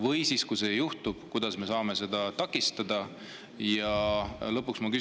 Või siis, kui see juhtub, kuidas me saame seda takistada?